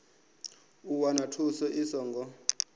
u wana thuso i songo